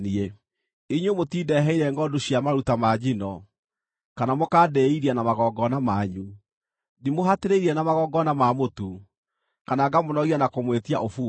Inyuĩ mũtindeheire ngʼondu cia maruta ma njino, kana mũkandĩĩithia na magongona manyu. Ndimũhatĩrĩirie na magongona ma mũtu, kana ngamũnogia na kũmwĩtia ũbumba.